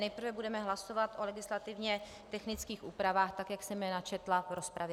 Nejprve budeme hlasovat o legislativně technických úpravách, tak jak jsem je načetla v rozpravě.